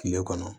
Kile kɔnɔ